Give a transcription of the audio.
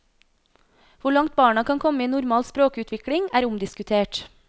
Hvor langt barna kan komme i normal språkutvikling, er omdiskutert.